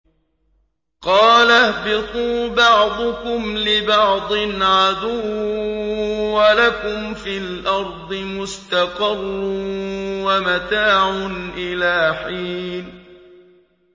قَالَ اهْبِطُوا بَعْضُكُمْ لِبَعْضٍ عَدُوٌّ ۖ وَلَكُمْ فِي الْأَرْضِ مُسْتَقَرٌّ وَمَتَاعٌ إِلَىٰ حِينٍ